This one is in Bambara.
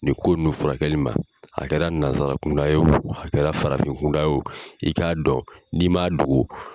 Nin ko nun furakɛli ma a kɛra nanzara kunda ye o a kɛra farafin kunda ye o i k'a dɔn n'i man dogo